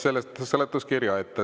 Võtan seletuskirja ette.